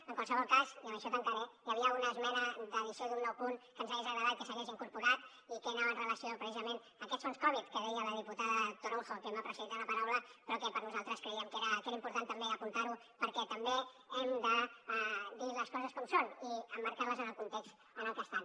en qualsevol cas i amb això tancaré hi havia una esmena d’addició d’un nou punt que ens hagués agradat que s’hagués incorporat i que anava amb relació precisament a aquests fons covid que deia la diputada toronjo que m’ha precedit en la paraula però que per nosaltres creiem que era important també apuntar ho perquè també hem de dir les coses com són i emmarcant les en el context en el que estan